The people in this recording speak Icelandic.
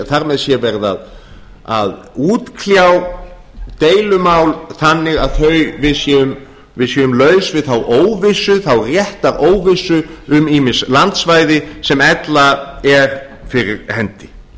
þar með sé verið að útkljá deilumál þannig að við séum laus við þá réttaróvissu um ýmis landsvæði sem ella er fyrir hendi